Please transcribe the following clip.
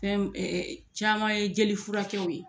Fɛn caman ye jeli furakɛw ye.